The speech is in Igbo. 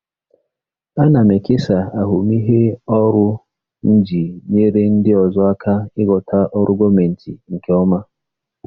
Ana m ekesa ahụmịhe ọrụ m iji nyere ndị ọzọ aka ịghọta ọrụ gọọmentị nke ọma.